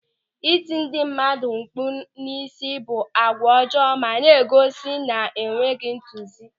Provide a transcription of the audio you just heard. Ịti ndị mmadụ mkpụ̀ n'isi bụ àgwà ọjọọ ma na-egosi enweghị ntozu.